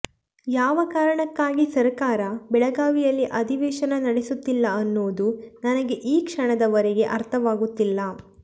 ಯಾವ ಕಾರಣಕ್ಕಾಗಿ ಸರಕಾರ ಬೆಳಗಾವಿಯಲ್ಲಿ ಅಧಿವೇಶನ ನಡೆಸುತ್ತಿಲ್ಲ ಅನ್ನೋದು ನನಗೆ ಈ ಕ್ಷಣದವರೆಗೆ ಅರ್ಥವಾಗುತ್ತಿಲ್ಲ